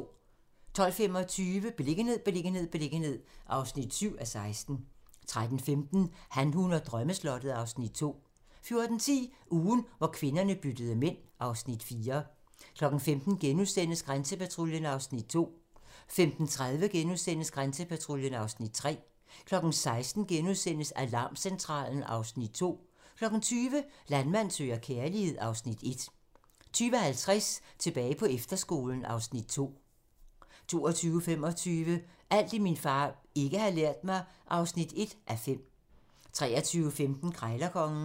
12:25: Beliggenhed, beliggenhed, beliggenhed (7:16) 13:15: Han, hun og drømmeslottet (Afs. 2) 14:10: Ugen, hvor kvinderne byttede mænd (Afs. 4) 15:00: Grænsepatruljen (Afs. 2)* 15:30: Grænsepatruljen (Afs. 3)* 16:00: Alarmcentralen (Afs. 2)* 20:00: Landmand søger kærlighed (Afs. 1) 20:50: Tilbage på efterskolen (Afs. 2) 22:25: Alt det, min far ikke har lært mig (1:5) 23:15: Krejlerkongen